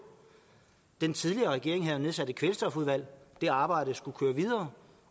den tidligere regering havde jo nedsat et kvælstofudvalg og det arbejde skulle køre videre